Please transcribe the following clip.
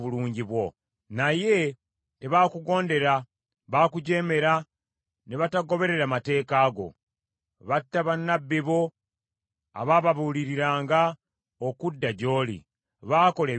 “Naye tebaakugondera, baakujeemera ne batagoberera mateeka go. Batta bannabbi bo, abaababuuliriranga okudda gy’oli; baakola ebitasaana.